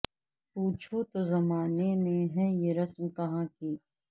پوچھو تو زمانے میں ہے یہ رسم کہاں کی